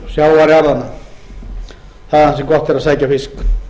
þaðan sem gott er að sækja fisk